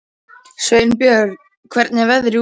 Sveinbjörn, hvernig er veðrið úti?